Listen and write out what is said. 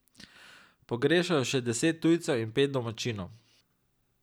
Pogrešajo še deset tujcev in pet domačinov.